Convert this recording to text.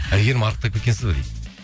әйгерім арықтап кеткенсіз бе дейді